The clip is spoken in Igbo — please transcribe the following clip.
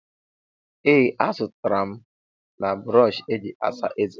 ee, azụtara m na brọọshị eji asa eze